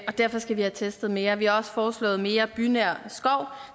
derfor skal vi have testet mere og vi har også foreslået mere bynær skov